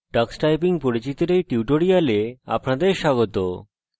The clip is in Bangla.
tux typing পরিচিতির এই tutorial আপনাদের স্বাগত